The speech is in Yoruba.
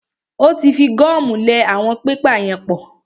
Ó tí fi gọ́mù lẹ àwọn pépà yẹn pap.